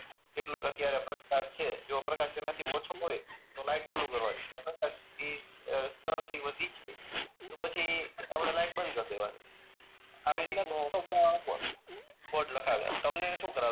કેટલું અત્યારે પ્રકાશ છે જો પ્રકાશ તેના થી ઓછો હોય તો લાઈટ ચાલુ કરવાની અને પ્રકાશ ઈ સ્તર થી વધી જાય તો પછી આપણે લાઈટ બંધ કર દેવાની આવી રીતનું કોડ લખાવે તમને શું કરાવે